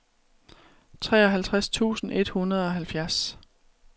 treoghalvtreds tusind et hundrede og halvfjerds